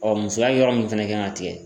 Ɔ musoya yɔrɔ min fɛnɛ kan ka tigɛ